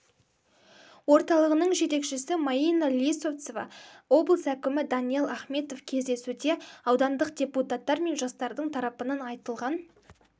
орталығының жетекшісі майина лисовцова облыс әкімі даниал ахметов кездесуде аудандық депутаттар мен жастардың тарапынан айтылған